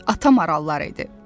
Ata marallar idi.